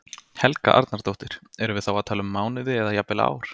Helga Arnardóttir: Erum við þá að tala um mánuði eða jafnvel ár?